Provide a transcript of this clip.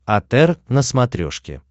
отр на смотрешке